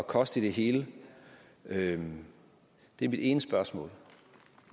koste i det hele det er mit ene spørgsmål